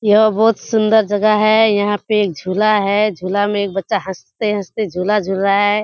य बोहोत सुंदर जगह है यहाँ पे एक झूला है। झूला में एक बच्चा हँसते-हँसते झूला झूल रहा है।